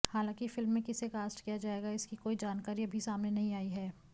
हालांकि फिल्म में किसे कास्ट किया जाएगा इसकी कोई जानकारी अभी सामने नहीं आई है